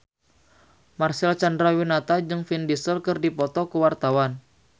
Marcel Chandrawinata jeung Vin Diesel keur dipoto ku wartawan